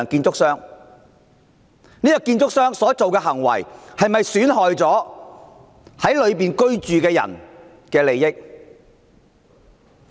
這間建築商所做的事是否損害了樓宇內居民的利益？